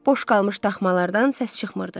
Boş qalmış daxmalardan səs çıxmırdı.